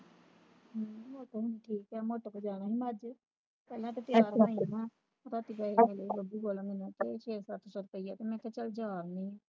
ਹਮ ਮੋਟੋ ਵੀ ਠੀਕ ਹੈ ਮੋਟੋ ਕੋਲ ਜਾਣਾ ਹੀ ਮੈਂ ਅੱਜ ਤੇ ਮੈਂ ਤਾ ਤਿਆਰ ਹੋਈ ਆ ਸੂਬਾ ਅਸੀਂ ਗਏ ਨੇੜੇ ਬੱਬੂ ਕੋਲ ਮੈਨੂੰ ਛੇ ਸੱਤ ਸੌ ਰੁਪਇਆ ਤੇ ਕਿਹਾ ਚਲ ਜਾ ਆਉਦੀ ਆ